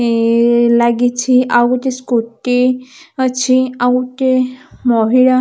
ଏ ----ଲାଗିଛି ଆଉ ଗୋଟେ ସ୍କୁଟୀ ଅଛି ଆଉ ଗୋଟେ ମହିଳା --